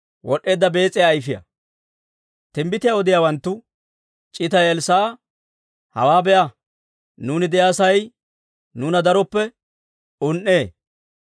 Timbbitiyaa odiyaawanttu c'itay Elssaa'a, «Hawaa be'a! Nuuni de'iyaa sa'ay nuuna darooppe un"ee.